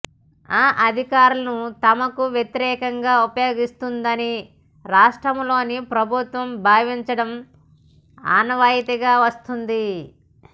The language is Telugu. ఆ అధికారాలను తమకు వ్యతిరేకంగా ఉపయోగిస్తోందని రాష్ట్రాల లోని ప్రభుత్వాలు భావించడం ఆనవాయితీగా వస్తోంది